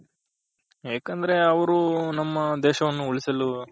ಯಾಕಂದ್ರೆ ಅವ್ರು ನಮ್ಮ ದೇಶವನ್ನು ಉಳಿಸಲು